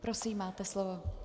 Prosím, máte slovo.